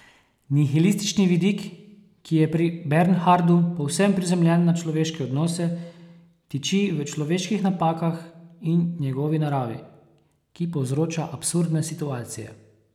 Nihilistični vidik, ki je pri Bernhardu povsem prizemljen na človeške odnose, tiči v človeških napakah in njegovi naravi, ki povzroča absurdne situacije.